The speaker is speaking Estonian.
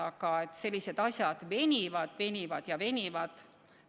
Aga sellised asjad venivad, venivad ja venivad.